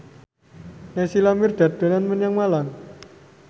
Naysila Mirdad dolan menyang Malang